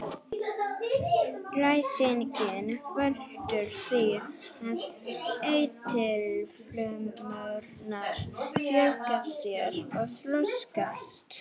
Ræsingin veldur því að eitilfrumurnar fjölga sér og þroskast.